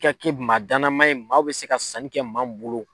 I ka kɛ maa danamaa ye maaw bɛ se ka sanni kɛ maa min bolo.